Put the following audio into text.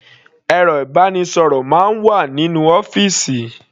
Ẹ̀rọ ìbánisọ̀rọ̀ máa ń wà nínú ọ́fìsì.